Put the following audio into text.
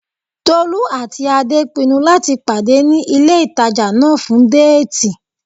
Tolú àti Adé pinnu láti pàdé ní ilé ìtajà náà fún déètì